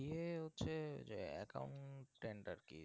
CA হচ্ছে যে accountant আর কি